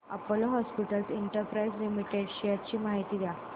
Apollo hospitals enterprise limited shares ची माहिती द्या